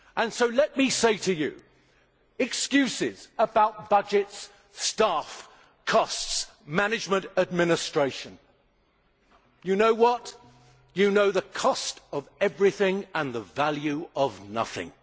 So let me say to you, with your excuses about budgets, staff, costs, management, administration Do you know what? You know the cost of everything and the value of nothing.